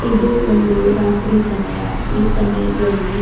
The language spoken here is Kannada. ಇದು ಒಂದು ರಾತ್ರಿಯ ಸಮಯ ಈ ಸಮಯದಲ್ಲಿ--